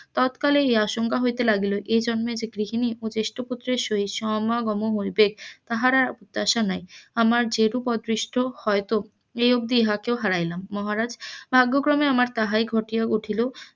ততকালে এই আশঙ্কা হইতে লাগিল এই জন্মে গৃহিনীর ও জ্যেষ্ঠয় পুত্রের সহিত সমা গম হইবে তাহার আর আশা নাই আমার যেরূপ অদৃষ্ট হয়ত এই অব্দি ইহাকেও হারাইলাম মহারাজ ভাগ্য ক্রমে আমার তাহাই ঘটিয়া উঠিল,